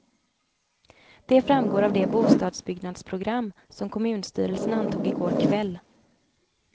Det framgår av det bostadsbyggnadsprogram som kommunstyrelsen antog igår kväll.